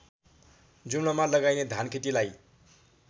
जुम्लामा लगाइने धानखेतीलाई